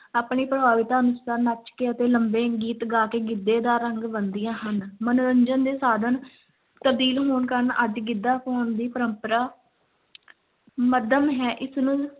ਆਪਣੀ ਪ੍ਰਭਾਵਿਤਾ ਅਨੁਸਾਰ ਨੱਚ ਕੇ ਅਤੇ ਲੰਮੇ ਗੀਤ ਗਾ ਕੇ ਗਿੱਧੇ ਦਾ ਰੰਗ ਬੰਨ੍ਹਦੀਆਂ ਹਨ, ਮਨੋਰੰਜਨ ਦੇ ਸਾਧਨ ਤਬਦੀਲ ਹੋਣ ਕਾਰਨ ਅੱਜ ਗਿੱਧਾ ਪਾਉਣ ਦੀ ਪਰੰਪਰਾ ਮੱਧਮ ਹੈ, ਇਸ ਨੂੰ